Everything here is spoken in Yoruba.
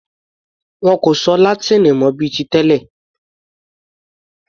Wọn kò sọ Látíìnì mọ bíi ti tẹlẹ̀.